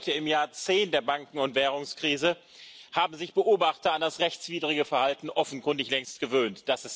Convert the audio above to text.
Heute, im Jahr 10 der Banken und Währungskrise, haben sich Beobachter an das rechtswidrige Verhalten offenkundig längst gewöhnt.